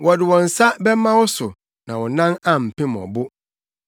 Wubetiatia gyata ne aprammiri so, wobɛnantew gyataforo ne ɔwɔ so.